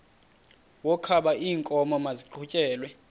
wokaba iinkomo maziqhutyelwe